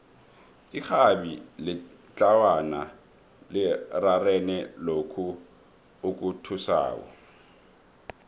irhabi letlawana lirarene lokhu okuthusako